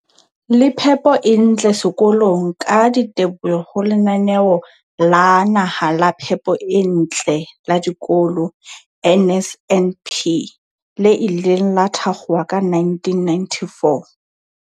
le phepo e ntle sekolong ka diteboho ho Lenaneo la Naha la Phepo e Ntle la Dikolo, NSNP, le ileng la thakgolwa ka 1994.